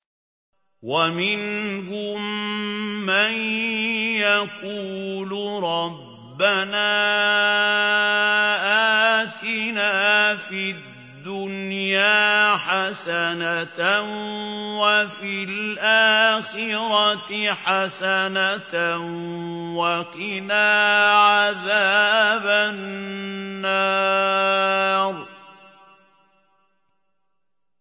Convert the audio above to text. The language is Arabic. وَمِنْهُم مَّن يَقُولُ رَبَّنَا آتِنَا فِي الدُّنْيَا حَسَنَةً وَفِي الْآخِرَةِ حَسَنَةً وَقِنَا عَذَابَ النَّارِ